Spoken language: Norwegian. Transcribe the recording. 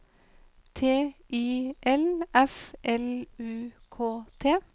T I L F L U K T